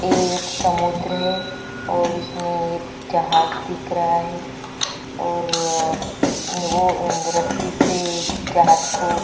एक समुद्र है और इसमें एक जहाज दिख रहा है और वो द रस्सी से जहाज को--